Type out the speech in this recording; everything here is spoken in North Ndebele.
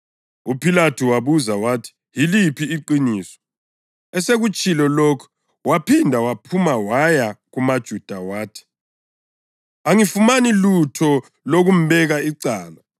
UPhilathu wabuza wathi, “Yiliphi iqiniso?” Esekutshilo lokhu waphinda waphuma waya kumaJuda wathi, “Angifumani lutho lokumbeka icala.